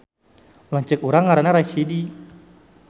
Lanceuk urang ngaranna Rachidi